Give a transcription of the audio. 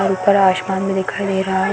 और ऊपर आशमान भी दिखाई दे रहा है।